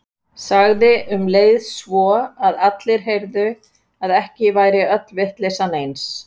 Sagði um leið svo að allir heyrðu að ekki væri öll vitleysan eins.